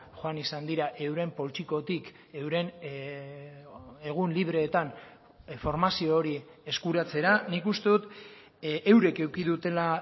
joan izan dira euren poltsikotik euren egun libreetan formazio hori eskuratzera nik uste dut eurek eduki dutela